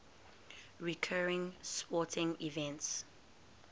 recurring sporting events